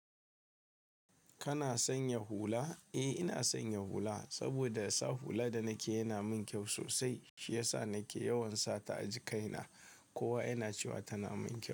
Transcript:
Kana sanya hula? Eh ina sanya hula, saboda sa hula da nake yana mun kyau sosai. Shi yasa nake yawan sata a jikaina. Kowa yana cewa tana min kyau.